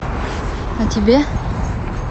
а тебе